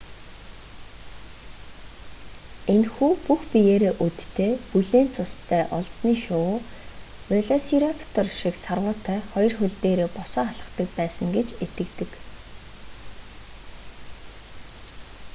энэхүү бүх биеэрээ өдтэй бүлээн цустай олзны шувуу велосираптор шиг сарвуутай хоёр хөл дээрээ босоо алхдаг байсан гэж итгэдэг